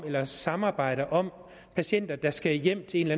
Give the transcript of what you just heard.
eller samarbejder om patienter der skal hjem til en